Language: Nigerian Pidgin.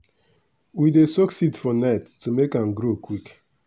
we dey soak seed for night to make am grow quick.